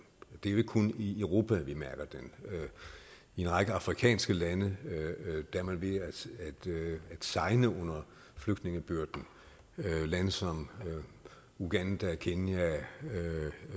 det er jo ikke kun i europa at vi mærker den i en række afrikanske lande er man ved at segne under flygtningebyrden lande som uganda kenya